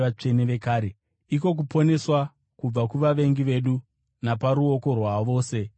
iko kuponeswa kubva kuvavengi vedu naparuoko rwavose vanotivenga,